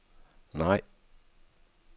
nej